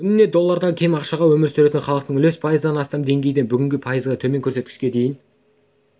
күніне доллардан кем ақшаға өмір сүретін халықтың үлесі пайыздан астам деңгейден бүгінде пайыздан төмен көрсеткішке дейін